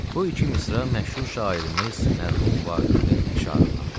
Bu iki misra məşhur şairimiz mərhum Vaqifin əşarındandır.